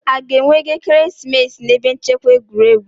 A ga-enwe ego ekeresimesi n'ebe nchekwa egwuregwu?